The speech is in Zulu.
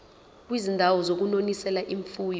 kwizindawo zokunonisela imfuyo